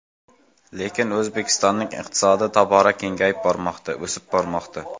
Lekin O‘zbekistonning iqtisodi tobora kengayib bormoqda, o‘sib bormoqda.